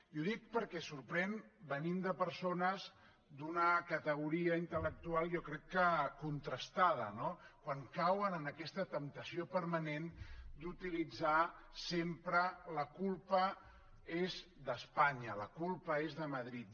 i ho dic perquè sorprèn venint de persones d’una categoria intel·lectual jo crec que contrastada no quan cauen en aquesta temptació permanent d’utilitzar sempre la culpa és d’espanya la culpa és de madrid